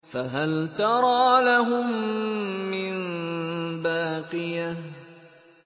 فَهَلْ تَرَىٰ لَهُم مِّن بَاقِيَةٍ